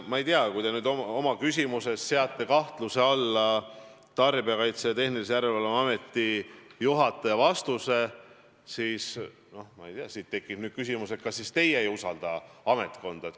Ma ei tea, kui te oma küsimuses seate kahtluse alla Tarbijakaitse ja Tehnilise Järelevalve Ameti juhataja vastuse, siis tekib küsimus, kas teie ei usalda ametkonda.